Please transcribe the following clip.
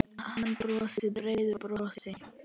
Hann brosir breiðu brosi.